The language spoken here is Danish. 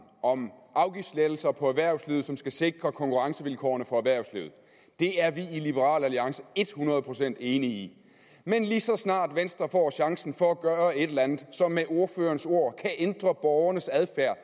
om afgiftslettelser for erhvervslivet som skal sikre konkurrencevilkårene for erhvervslivet det er vi i liberal alliance et hundrede procent enige i men lige så snart venstre får chancen for at gøre et eller andet som med ordførerens ord kan ændre borgernes adfærd